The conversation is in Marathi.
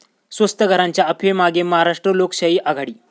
स्वस्त घरांच्या अफवेमागे महाराष्ट्र लोकशाही आघाडी